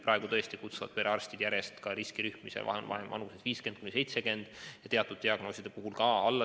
Praegu tõesti kutsuvalt perearstid järjest vaktsineerima neid, kelle vanus on 50–70 aastat, ja teatud diagnooside puhul ka nooremaid.